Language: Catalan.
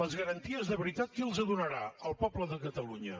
les garanties de veritat qui les donarà el poble de catalunya